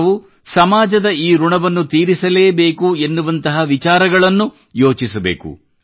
ನಾವು ಸಮಾಜದ ಈ ಋಣವನ್ನು ತೀರಿಸಲೇ ಬೇಕು ಎನ್ನುವಂತಹ ವಿಚಾರಗಳನ್ನು ನಾವು ಯೋಚಿಸಬೇಕು